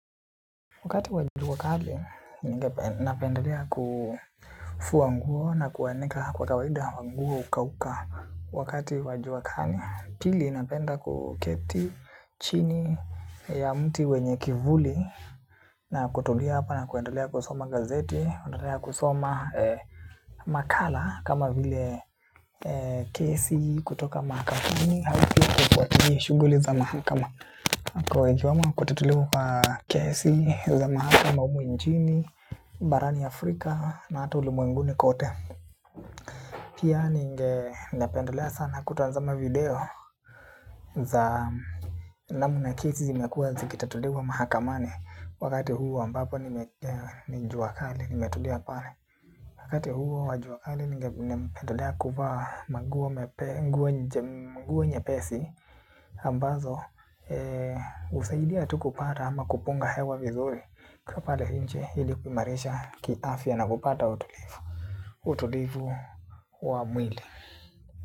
Wakati wa jua kali, ninapendelea kufua nguo na kuanika kwa kawaida nguo ukauka wakati wa jua kali. Pili, napenda kuketi chini ya mti wenye kivuli na kutulia hapa na kuendelea kusoma gazeti, kutulia kusoma makala kama vile kesi kutoka makampuni, shuguli za mahakama. Kwa ikiweoa kutatuliwa kesi za mahakama humu nchini. Barani Afrika na hata ulimwenguni kote. Pia ninge napendolea sana kutazama video za namna kesi zimekuwa zikitatuliwa mahakamani. Wakati huo ambapo ni jua kali nimetulia pale. Wakati huo wa jua kali ningependelea kuvaa maguo mepe. Nguo nyepesi ambazo husaidia tu kupata ama kupunga hewa vizuri. Kaa pale nje hili kuimarisha kiafya na kupata utulivu. Utulivu wa mwili.